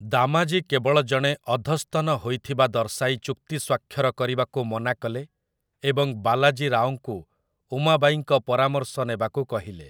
ଦାମାଜୀ କେବଳ ଜଣେ ଅଧସ୍ତନ ହୋଇଥିବା ଦର୍ଶାଇ ଚୁକ୍ତି ସ୍ଵାକ୍ଷର କରିବାକୁ ମନାକଲେ ଏବଂ ବାଲାଜୀ ରାଓଙ୍କୁ ଉମାବାଈଙ୍କ ପରାମର୍ଶ ନେବାକୁ କହିଲେ ।